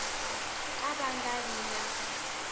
ka va nga vi na